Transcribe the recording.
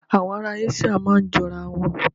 Àwọn ará Áṣííà máa ń jọ ara wọn.